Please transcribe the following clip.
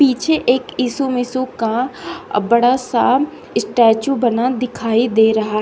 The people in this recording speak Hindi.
पीछे एक यीशु मिसू का बड़ा सा स्टेचू बना दिखाई दे रहा है।